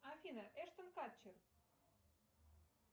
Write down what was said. афина эштон катчер